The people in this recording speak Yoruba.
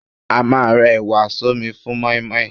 A máà ń rẹ ẹ̀wà sọ́mi fún mọ́ímọ́í.